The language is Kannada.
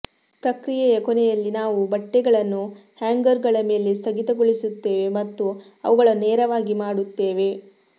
ಪ್ರಕ್ರಿಯೆಯ ಕೊನೆಯಲ್ಲಿ ನಾವು ಬಟ್ಟೆಗಳನ್ನು ಹ್ಯಾಂಗರ್ಗಳ ಮೇಲೆ ಸ್ಥಗಿತಗೊಳಿಸುತ್ತೇವೆ ಮತ್ತು ಅವುಗಳನ್ನು ನೇರವಾಗಿ ಮಾಡುತ್ತೇವೆ